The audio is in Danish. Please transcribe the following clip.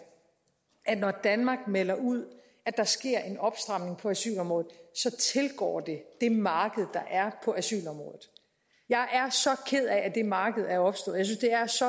at når danmark melder ud at der sker en opstramning på asylområdet så tilgår det det marked der er på asylområdet jeg er så ked af at det marked er opstået